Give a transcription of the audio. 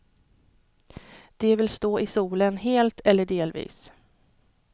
De vill stå i solen, helt eller delvis.